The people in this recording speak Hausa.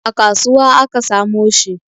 A kasuwa aka samo shi